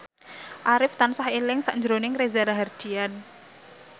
Arif tansah eling sakjroning Reza Rahardian